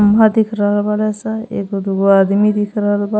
खम्बा दिख रहल बाड़े सन एगो दुगो आदमी दिख रहल बा।